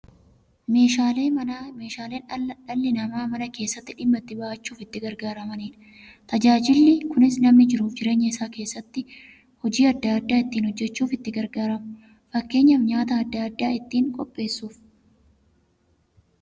Meeshaaleen Manaa meeshaalee dhalli namaa Mana keessatti dhimma itti ba'achuuf itti gargaaramaniidha. Tajaajilli kunis, namni jiruuf jireenya isaa keessatti hojii adda adda ittiin hojjachuuf itti gargaaramu. Fakkeenyaf, nyaata adda addaa ittiin qopheessuuf.